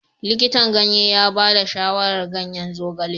Likitan ganye ya ba da shawarar ganyen zogale.